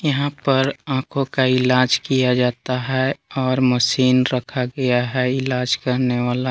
यहां पर आंखों का इलाज किया जाता है और मशीन रखा गया है इलाज करने वाला।